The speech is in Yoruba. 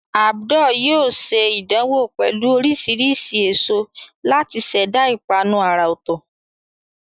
Abdul yóò ṣe ìdánwò pẹ̀lú oríṣiríṣi èso láti ṣẹ̀dá ìpanu àrà ọ̀tọ̀.